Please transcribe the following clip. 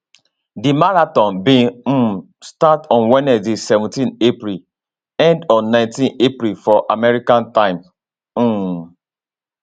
di marathon bin um start on wednesday seventeenapril end on 19 april for america time um